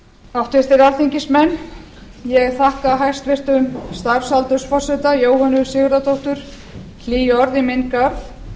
háttvirtir alþingismenn ég þakka hæstvirtum starfsaldursforseta jóhönnu sigurðardóttur hlý orð í minn garð